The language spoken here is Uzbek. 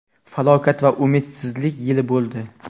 falokat va umidsizlik yili bo‘ldi.